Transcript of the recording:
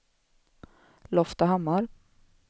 Loftahammar